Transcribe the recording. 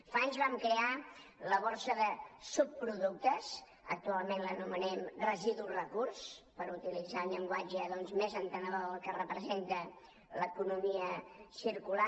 fa anys vam crear la borsa de subproductes actualment l’anomenem residu recurs per utilitzar un llenguatge més entenedor del que representa l’economia circular